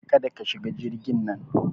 Kada ka shiga jirgin nan!